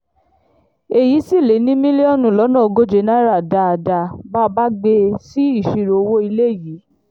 èyí sì lé ní mílíọ̀nù lọ́nà ogóje náírà dáadáa bá a bá gbé e sí ìṣirò owó ilé yìí